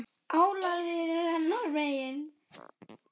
Álagið er hennar megin.